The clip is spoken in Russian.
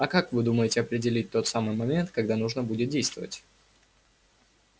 а как вы думаете определить тот самый момент когда нужно будет действовать